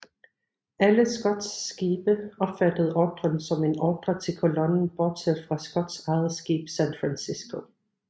Alle Scotts skibe opfattede ordren som en ordre til kolonnen bortset fra Scotts eget skib San Francisco